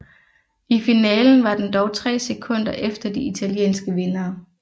I finalen var den dog 3 sekunder efter de italienske vindere